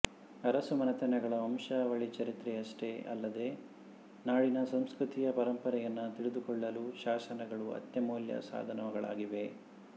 ಅರಸುಮನೆತನಗಳ ವಂಶಾವಳಿಚರಿತ್ರೆಯಷ್ಟೇ ಅಲ್ಲದೆ ನಾಡಿನ ಸಂಸ್ಕೃತಿಯ ಪರಂಪರೆಯನ್ನು ತಿಳಿದುಕೊಳ್ಳಲೂ ಶಾಸನಗಳು ಅತ್ಯಮೂಲ್ಯ ಸಾಧನಗಳಾಗಿವೆ